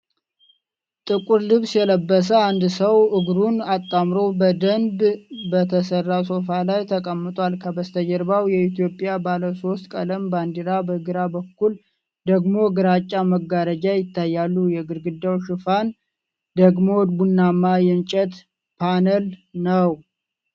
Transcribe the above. ጥቁር ልብስ የለበሰ አንድ ሰው እግሩን አጣምሮ በደንብ በተሠራ ሶፋ ላይ ተቀምጧል። ከበስተጀርባው የኢትዮጵያ ባለሶስት ቀለም ባንዲራ በግራ በኩል ደግሞ ግራጫ መጋረጃ ይታያሉ። የግድግዳው ሽፋን ደግሞ ቡናማ የእንጨት ፓነል ነው።